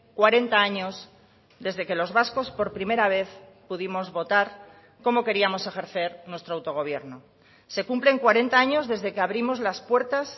cuarenta años desde que los vascos por primera vez pudimos votar cómo queríamos ejercer nuestro autogobierno se cumplen cuarenta años desde que abrimos las puertas